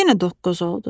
Yenə doqquz oldu.